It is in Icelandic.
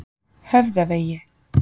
Höfðavegi